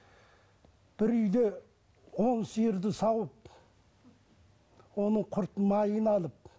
бір үйде он сиырды сауып оның құрт майын алып